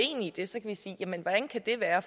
det er